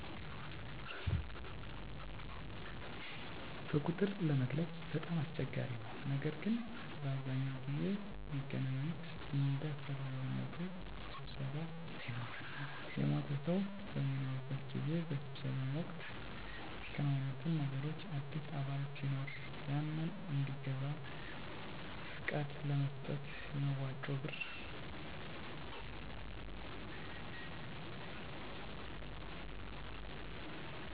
በቁጥር ለመግለፅ በጣም አስቸጋሪ ነው ነገር ግን በአብዛኛው ጊዜ ሚገናኙት እንደ አሰፈላጊነቱ ስብሰባ ሲኖር እና የሞተ ሰው በሚኖርበት ጊዜ። በስብሰባው ወቅት ሚከናወኑት ነገሮች አዲስ አባል ሲኖር ያንን እንዲገባ ፍቃድ ለመስጠት፣ የመዋጮ ብር ጭማሪ ካሰፈለገ ስለሱ ለመወያዬት፣ አዲስ ሊቀመንበር ለመምረጥ ከአሁን በፊት የነበረው ሊቀመንበር በደንብ መምራት ማይችል ከሆነ እና ያንን ለመስራት ፍቃደኛ ካልሆነ፣ እሚያሰፈልጉ እቃዎችን ለምሳሌ፦ ሰሀን፣ መጠጫ፣ ድንኳን እና ወንበሮችን ለመግዛት እና እርዳታ ሲኖር ያንን ለማገዝ ይሰባሰባሉ።